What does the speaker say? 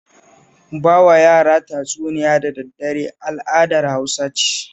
Ba wa yara tatsuniya da daddare al'adar Hausa ce